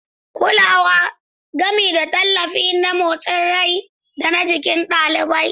Kulawa, gami da tallafi na motsin rai da na jiki ga ɗalibai.